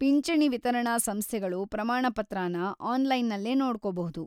ಪಿಂಚಣಿ ವಿತರಣಾ ಸಂಸ್ಥೆಗಳು ಪ್ರಮಾಣಪತ್ರನ ಆನ್ಲೈನಲ್ಲೇ ನೋಡ್ಕೋಬಹುದು.